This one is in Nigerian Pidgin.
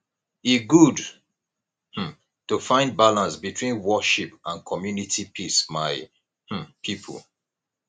e good um to find balance between worship and community peace my um pipo